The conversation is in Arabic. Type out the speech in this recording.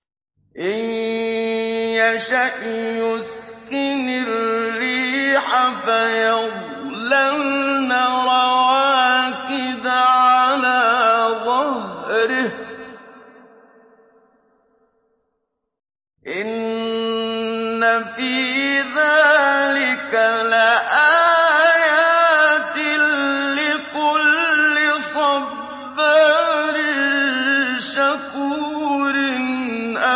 إِن يَشَأْ يُسْكِنِ الرِّيحَ فَيَظْلَلْنَ رَوَاكِدَ عَلَىٰ ظَهْرِهِ ۚ إِنَّ فِي ذَٰلِكَ لَآيَاتٍ لِّكُلِّ صَبَّارٍ شَكُورٍ